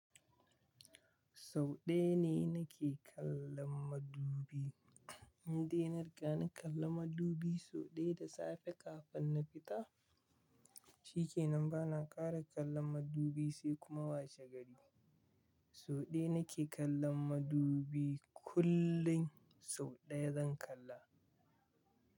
Sau ɗaya ne nake kallon madubi. Inda nariga na kalla madubi sau ɗaya da safe kafin na fita, shi ke nan ba na ƙara kallon madubi sai kuma wace gari. Sau ɗaya nake kallon madubi, kullun sau ɗaya zan kalla.